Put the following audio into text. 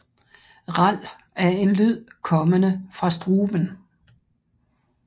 Ral er en lyd kommende fra struben